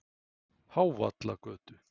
Hávallagötu